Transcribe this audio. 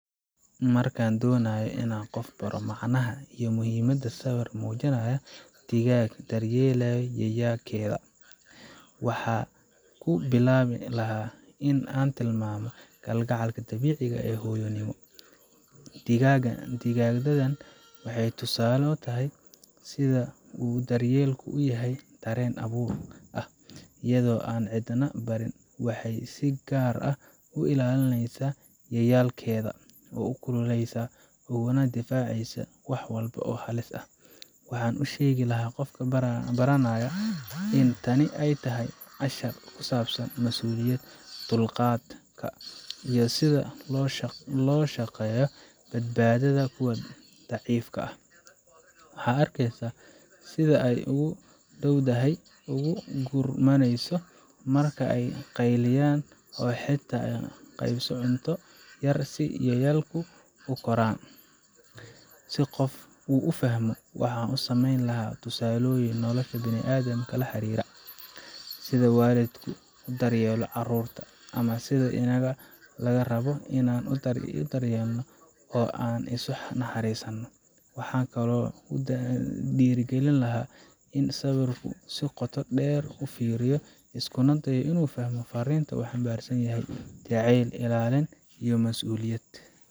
Markaan doonayo inaan qof baro macnaha iyo muhiimadda sawir muujinaya digaagad daryeelayso yayaalkeeda, waxaan ku bilaabi lahaa in aan tilmaamo kalgacalka dabiiciga ah ee hooyonimo. Digaagaddan waxay tusaale u tahay sida uu daryeelku u yahay dareen abuur ah iyada oo aan cidna barin, waxay si gaar ah u ilaalinaysaa yayaalkeeda, u kululeysaa, ugana difaacaysaa wax walba oo halis ah. Waxaan u sheegi lahaa qofka baranaya in tani ay tahay cashar ku saabsan masuuliyadda, dulqaadka, iyo sida looga shaqeeyo badbaadada kuwa daciifka ah. Waxaad arkeysaa sida ay ugu dhowdahay, ugu gurmanayso marka ay qayliyaan, oo xitaa la qaybsato cunto yar si yayaalku u koraan. Si qofku u fahmo, waxaan u samayn lahaa tusaalooyin nolosha bini’aadamka la xiriira sida waalidku u daryeelo carruurta, ama sida inaga laga rabo inaan is daryeelno oo aan isu naxariisno. Waxaan kaloo ku dhiirrigelin lahaa in uu sawirka si qoto dheer u fiiriyo, iskuna dayo inuu fahmo fariinta uu xambaarsan yahay: jacayl, ilaalin, iyo masuuliyad.